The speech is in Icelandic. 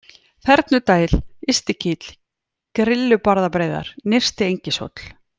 Þernudæl, Ystikíll, Grillubarðabreiðar, Nyrsti-Engishóll